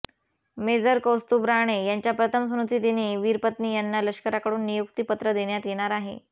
major Kaustubh Rane यांच्या प्रथम स्मृतिदिनी वीरपत्नी यांना लष्कराकडून नियुक्ती पत्र देण्यात येणार आहे